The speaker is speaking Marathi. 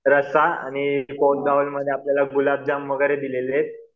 रस्सा आणि मध्ये आपल्याला गुलाब जाम वगैरे दिलेले येत.